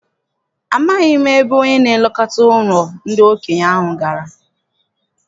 Amaghị m ebe onye na-elekọta ụlọ ndị okenye ahụ gara.